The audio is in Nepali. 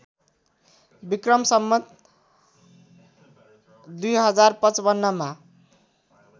विक्रम सम्वत २०५५ मा